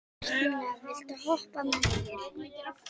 Henrietta, viltu hoppa með mér?